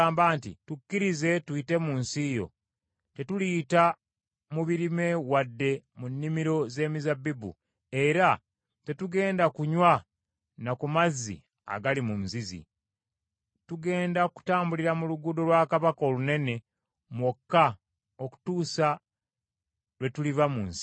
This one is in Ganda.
“Tukkirize tuyite mu nsi yo. Tetuliyita mu birime wadde mu nnimiro z’emizabbibu, era tetugenda kunywa na ku mazzi agali mu nzizi. Tugenda kutambulira mu Luguudo lwa Kabaka olunene mwokka okutuusa lwe tuliva mu nsi yo.”